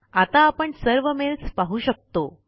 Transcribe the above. आता आपण सर्व मेल्स पाहू शकतो